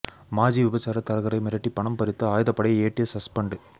மாஜி விபச்சார தரகரை மிரட்டி பணம் பறித்த ஆயுதப்படை ஏட்டு சஸ்பெண்ட்